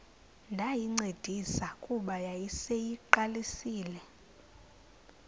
ndayincedisa kuba yayiseyiqalisile